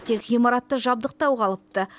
тек ғимаратты жабдықтау қалыпты